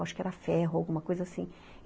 Acho que era ferro, alguma coisa assim.